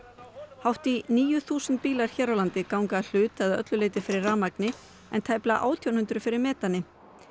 hátt í níu þúsund bílar hér á landi ganga að hluta eða að öllu leyti fyrir rafmagni en tæplega átján hundruð fyrir metani